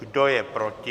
Kdo je proti?